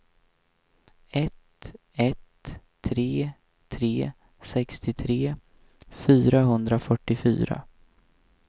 ett ett tre tre sextiotre fyrahundrafyrtiofyra